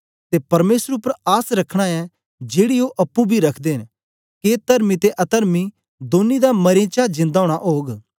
ते परमेसर उपर आस रखना ऐ जेड़ी ओ अप्पुं बी रखदे न के तरमी ते अतर्मी दौनीं दा मरें चा जिंदा ओना ओग